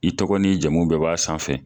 I tɔgɔ ni jamu bɛɛ b'a sanfɛ.